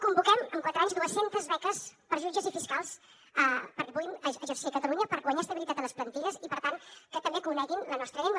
convoquem en quatre anys dues centes beques per a jutges i fiscals perquè puguin exercir a catalunya per guanyar estabilitat a les plantilles i per tant que també coneguin la nostra llengua